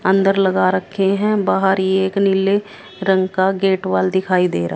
अंदर लगा रखे हैं बाहर ये एक नीले रंग का गेट वाल दिखाई दे रहा--